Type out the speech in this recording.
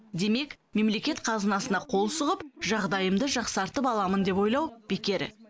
демек мемлекет қазынасына қол сұғып жағдайымды жақсартып аламын деп ойлау бекер